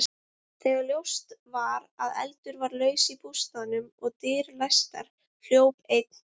Þegar ljóst var að eldur var laus í bústaðnum og dyr læstar, hljóp einn